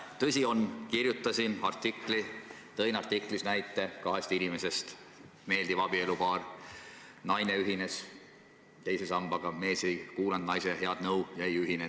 Tõsi on, et kirjutasin artikli, milles tõin näite kahest inimesest: meeldiv abielupaar, naine ühines teise sambaga, mees aga naise head nõu ei kuulanud ja ei ühinenud.